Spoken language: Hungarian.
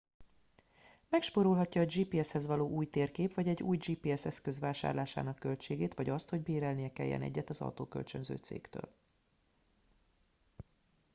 megspórolhatja a gps hez való új térkép vagy egy új gps eszköz vásárlásának költségét vagy azt hogy bérelnie kelljen egyet egy autókölcsönző cégtől